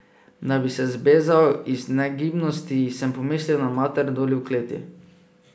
Da bi se zbezal iz negibnosti, sem pomislil na mater doli v kleti.